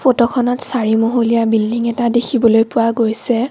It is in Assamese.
ফটোখনত চাৰি মহলীয়া বিল্ডিং এটা দেখিবলৈ পোৱা গৈছে।